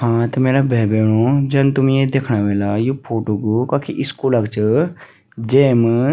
हाँ त मेरा भै बैणो जन तुम ये दिखणा ह्वेला यु फोटो कु कखी स्कूल क च जेम --